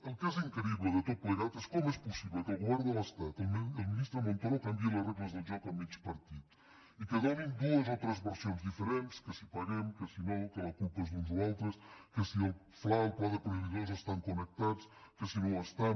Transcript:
el que és increïble de tot plegat és com és possible que el govern de l’estat i el ministre montoro canviïn les regles del joc a mig partit i que donin dues o tres versions diferents que si paguem que si no que la culpa és d’uns o altres que si el fla i el pla de proveïdors estan connectats que si no ho estan